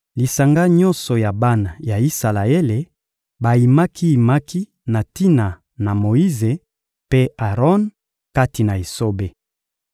Lisanga nyonso ya bana ya Isalaele bayimaki-yimaki na tina na Moyize mpe Aron kati na esobe.